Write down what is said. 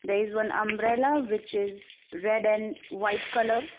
There is one umbrella which is and white colour.